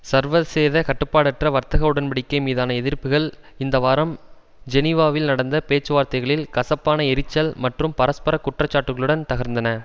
சர்வசேத கட்டுப்பாட்டற்ற வர்த்தக உடன் படிக்கை மீதான எதிர்பார்ப்புகள் இந்த வாரம் ஜெனிவாவில் நடந்த பேச்சுவார்த்தைகளில் கசப்பான எரிச்சல் மற்றும் பரஸ்பர குற்றச்சாட்டுகளுடன் தகர்ந்தன